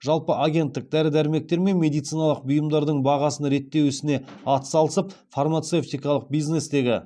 жалпы агенттік дәрі дәрмектер мен медициналық бұйымдардың бағасын реттеу ісіне ат салысып фармацевтикалық бизнестегі